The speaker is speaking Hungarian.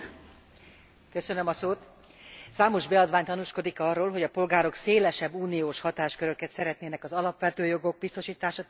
Számos beadvány tanúskodik arról, hogy a polgárok szélesebb uniós hatásköröket szeretnének az alapvető jogok biztosítása terén vagy a környezetvédelemben.